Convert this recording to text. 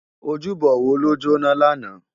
Ójúbò wó ló jóná làná?